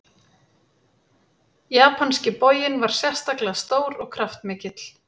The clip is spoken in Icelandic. Japanski boginn var sérstaklega stór og kraftmikill.